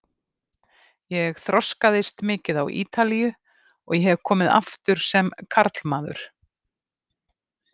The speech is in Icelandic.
Ég þroskaðist mikið á Ítalíu og ég hef komið aftur sem karlmaður.